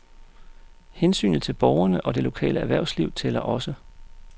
Hensynet til borgerne og det lokale erhvervsliv tællerogså.